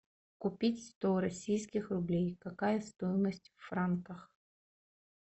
купить сто российских рублей какая стоимость в франках